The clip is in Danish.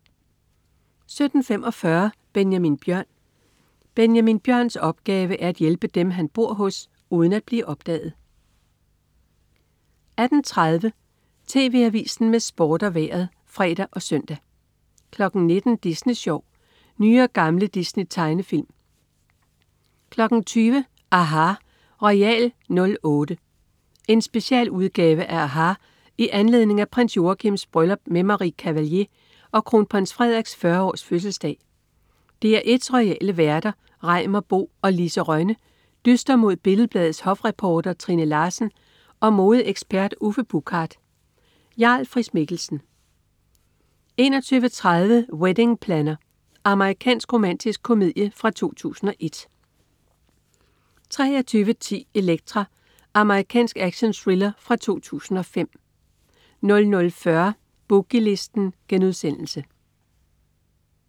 17.45 Benjamin Bjørn. Benjamin Bjørns opgave er at hjælpe dem, han bor hos, uden at blive opdaget 18.30 TV Avisen med Sport og Vejret (fre og søn) 19.00 Disney Sjov. Nye og gamle Disney-tegnefilm 20.00 aHA! Royal '08. En specialudgave af aHA! i anledning af prins Joachims bryllup med Marie Cavallier og kronprins Frederiks 40-års-fødselsdag. DR1's royale værter Reimer Bo og Lise Rønne dyster mod Billed Bladets hofreporter Trine Larsen og modeekspert Uffe Buchard. Jarl Friis-Mikkelsen 21.30 Wedding Planner. Amerikansk romantisk komedie fra 2001 23.10 Elektra. Amerikansk actionthriller fra 2005 00.40 Boogie Listen*